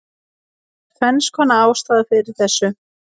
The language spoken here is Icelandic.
Það eru tvennskonar ástæður fyrir þessu: